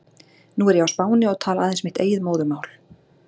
Nú er ég á Spáni og tala aðeins mitt eigið móðurmál.